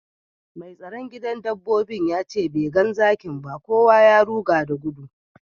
Mai tsaron gidan dabbobin ya ce bai gan zakin ba, kowa ya ruga da gudu.